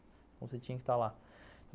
Então, você tinha que estar lá.